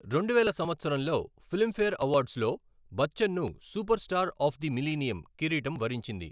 రెండువేల సంవత్సరంలో ఫిల్మ్ఫేర్ అవార్డ్స్లో బచ్చన్ను super star of the millennium కిరీటం వరించింది.